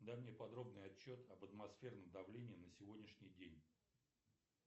дай мне подробный отчет об атмосферном давлении на сегодняшний день